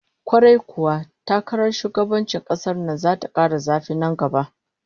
Kwarai kuwa, takarar shugabancin kasar nan zata kara zafi nan gaba